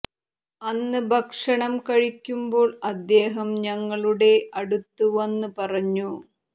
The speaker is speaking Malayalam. അന്ന് ഭക്ഷണം കഴിക്കുമ്പോൾ അദ്ദേഹം ഞങ്ങളുടെ അടുത്ത് വന്ന് പറഞ്ഞു